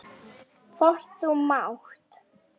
Hvort þú mátt.